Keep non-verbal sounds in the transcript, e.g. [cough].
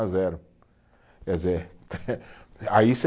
a zero, quer dizer, [laughs] aí você